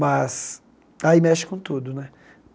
Mas aí mexe com tudo, né?